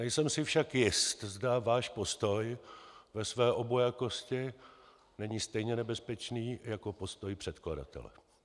Nejsem si však jist, zda váš postoj ve své obojakosti není stejně nebezpečný jako postoj předkladatele.